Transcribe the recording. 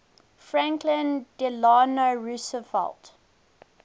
franklin delano roosevelt